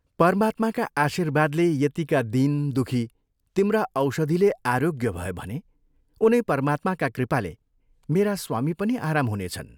परमात्माका आशीर्वादले यतिका दीन, दुःखी तिम्रा औषधिले आरोग्य भए भने उनै परमात्माका कृपाले मेरा स्वामी पनि आराम हुनेछन्।